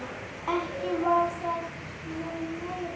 Ekki var það nú meira.